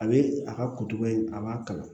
A bɛ a ka kutuko in a b'a kala